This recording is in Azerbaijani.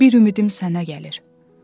Bir ümidim sənə gəlir.